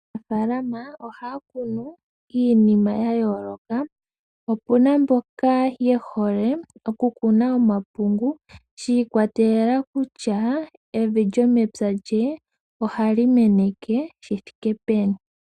Aanafalama ohaya kunu iinima ya yooloka, opuna mboka ye hole okukuna omapungu shiikwatelela kutya evi lyomepya lye ohali meneke shithike peni.